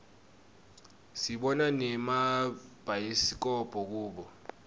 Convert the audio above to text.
sibona nemabhayisikobho kubo